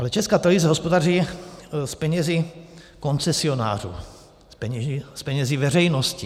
Ale Česká televize hospodaří s penězi koncesionářů, s penězi veřejnosti.